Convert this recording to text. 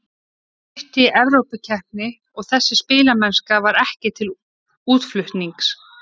Það er stutt í Evrópukeppni og þessi spilamennska var ekki til útflutnings.